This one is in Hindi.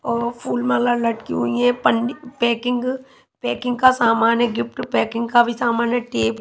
और फूलमाला लटकी हुई है पन्नी पैकिंग पैकिंग का सामान है गिफ्ट पैकिंग का भी सामान है टेप --